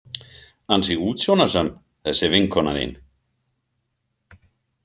Ansi útsjónarsöm, þessi vinkona þín.